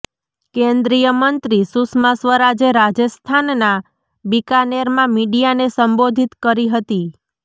કેન્દ્રીય મંત્રી સુષ્મા સ્વરાજે રાજસ્થાનના બિકાનેરમાં મીડિયાને સંબોધિત કરી હતી